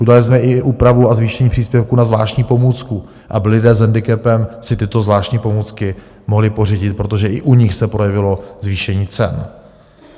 Udělali jsme i úpravu a zvýšení příspěvku na zvláštní pomůcku, aby lidé s hendikepem si tyto zvláštní pomůcky mohli pořídit, protože i u nich se projevilo zvýšení cen.